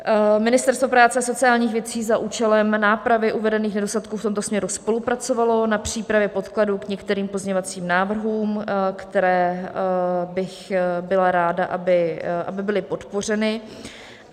Ministerstvo práce a sociálních věcí za účelem nápravy uvedených nedostatků v tomto směru spolupracovalo na přípravě podkladů k některým pozměňovacím návrhům, které bych byla ráda, aby byly podpořeny.